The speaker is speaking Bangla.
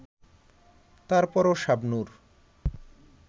তারপরও শাবনূর